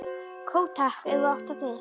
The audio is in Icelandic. Kók takk, ef þú átt það til!